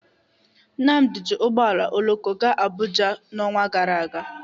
Nnadi ji ụgbọ oloko gaa Abuja n'ọnwa gara aga.